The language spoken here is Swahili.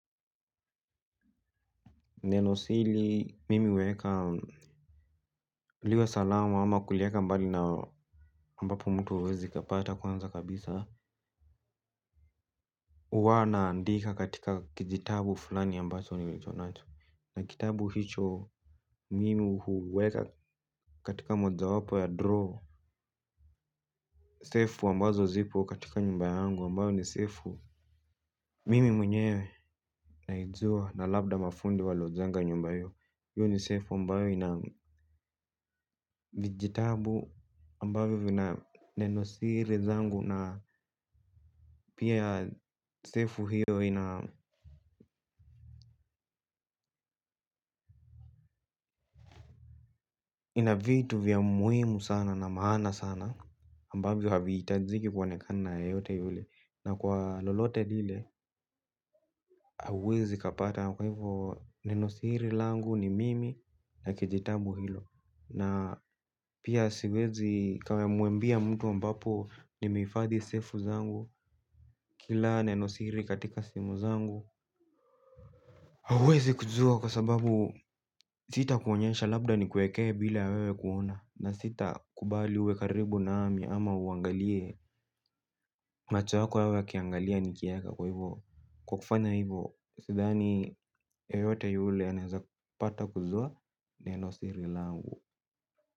Nenosili mimi uweka. Ulio salama ama kulieka mbali na ambapo mtu hawezi kapata kwanza kabisa. Uwa naandika katika kijitabu fulani ambacho nilicho nato. Na kitabu hicho. Mimi uweka katika moja wapo ya droo. Sefu ambazo zipo katika nyumba yangu ambayo ni sefu. Mimi mwenyewe naijua na labda mafundi walojenga nyumba iyo yu ni sefu ambayo ina vijitabu ambavyo vina nenosiri zangu. Na pia sefu hiyo inavitu vya muhimu sana na maana sana ambavyo habi itajiki kwa nekana ya yote yule. Na kwa lolote lile, hauezi kapata. Nenosiri langu ni mimi na kijitabu hilo. Na pia siwezi kama muambia mtu ambapo nimeifadhi sefu zangu kila nenosiri katika simu zangu hauezi kujua kwa sababu sita kuonyesha labda ni kuekee bila wewe kuona. Na sita kubali wekaribu na ami ama uangalie machu wako wewe kiangalia nikia yaka kwa hivyo. Kwa kufanya hivyo, sudhani yeyote yule anazapata kuzua ne losi rilangu.